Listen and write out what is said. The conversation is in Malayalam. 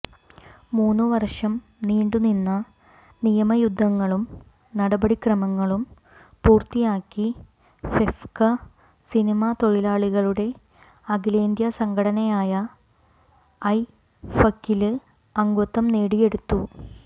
മൂന്ന് വര്ഷം നീണ്ടുനിന്ന നിയമയുദ്ധങ്ങളും നടപടിക്രമങ്ങളും പൂര്ത്തിയാക്കി ഫെഫ്ക സിനിമ തൊഴിലാളികളുടെ അഖിലേന്ത്യസംഘടനയായ ഐഫക്കില് അംഗത്വം നേടിയെടുത്തു